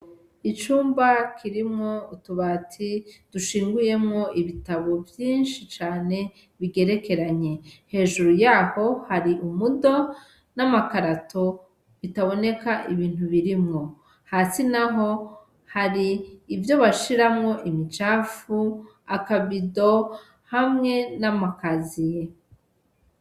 Icumba kirimwo utubati dushinguyemwo ibitabu vyinshi cane bigerekeranye hejuru yaho hari umudo namakarato bitaboneka ibintu birimwo hasi naho hari ivyo bashiramwo imicafu akababido hamwe namakaziye.